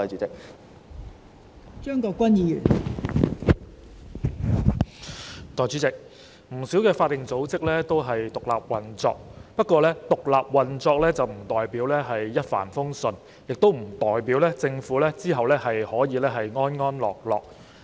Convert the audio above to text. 代理主席，不少法定組織均獨立運作，不過，獨立運作不代表一帆風順，亦不代表政府可以無後顧之憂。